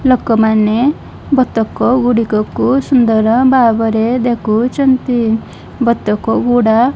ଲୋକମାନେ ବତକଗୁଡ଼ିକକୁ ସୁନ୍ଦର ଭାବରେ ଦେଖୁଛନ୍ତି ବତକଗୁଡ଼ା --